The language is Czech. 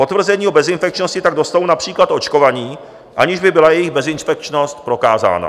Potvrzení o bezinfekčnosti tak dostanou například očkovaní, aniž by byla jejich bezinfekčnost prokázána."